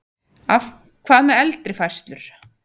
Hvað með eldri færslur?